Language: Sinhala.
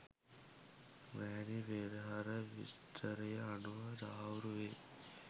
රැණි පෙරහර විස්තරය අනුව තහවුරු වේ.